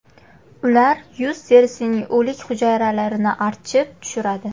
Ular yuz terisining o‘lik hujayralarini archib tushiradi.